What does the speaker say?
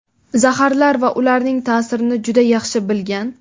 Zaharlar va ularning ta’sirini juda yaxshi bilgan.